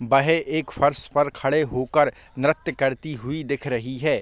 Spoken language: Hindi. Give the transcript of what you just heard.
वह एक फर्श पर खड़े होकर नृत्य करती हुई दिखाई दे रही हैं।